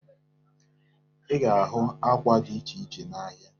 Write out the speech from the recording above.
Ị ga-ahụ ákwà dị iche iche n'ahịa.